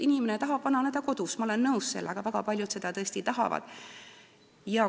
Inimene tahab vananeda kodus, ma olen sellega nõus, väga paljud seda tõesti tahavad.